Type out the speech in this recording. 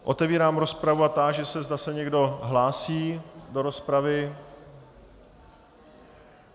Otevírám rozpravu a táži se, zda se někdo hlásí do rozpravy.